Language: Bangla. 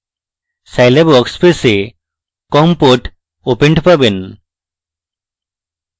scilab workspace a com port opened পাবেন